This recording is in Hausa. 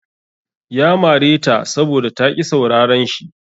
Ya mare ta saboda ta ƙi sauraran shi.